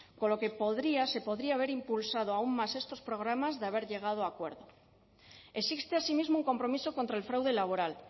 con lo que se podría haber impulsado aún más estos programas de haber llegado a acuerdo existe asimismo un compromiso contra el fraude laboral